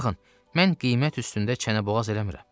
Baxın, mən qiymət üstündə çənə-boğaz eləmirəm.